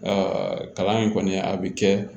kalan in kɔni a bɛ kɛ